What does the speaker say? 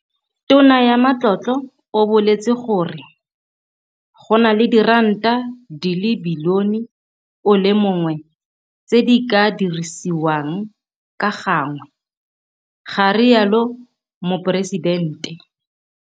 Tona ya Matlotlo o boletse gore [, go na le diranta di le bilione o le mongwe tse di ka dirisiwang ka gangwe, ga rialo Moporesidente.